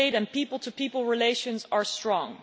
trade and people to people relations are strong